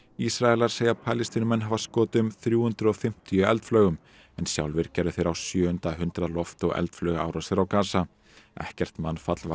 Ísraelar segja Palestínumenn hafa skotið um þrjú hundruð og fimmtíu eldflaugum en sjálfir gerðu þeir á sjöunda hundrað loft og eldflaugaárásir á Gasa ekkert mannfall varð